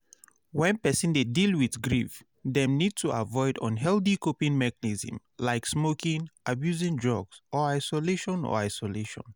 When person dey deal with grief dem need to avoid unhealthy coping mechnism like smoking, abusing drugs or isolation or isolation